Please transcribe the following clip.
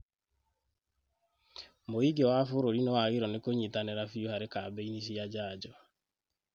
Mũingĩ wa bũrũri nĩwagĩrĩirwo nĩ kũnyitanĩra biũ harĩ kambĩini cia njanjo